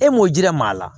E m'o jira maa maa la